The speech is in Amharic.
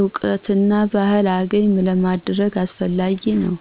እውቀትና ባህልን አገኘ ለማድረግ አስፈላጊ ነው።